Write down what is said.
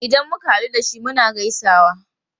Idan muka hadu da shi, muna gaisawa.